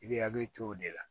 I bɛ hakili to o de la